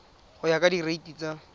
go ya ka direiti tsa